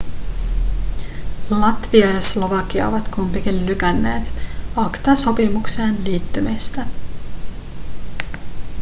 latvia ja slovakia ovat kumpikin lykänneet acta-sopimukseen liittymistä